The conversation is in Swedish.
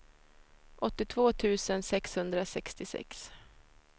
åttiotvå tusen sexhundrasextiosex